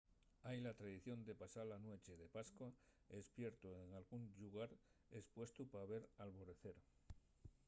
hai la tradición de pasar la nueche de pascua espiertu en dalgún llugar espuestu pa ver l’alborecer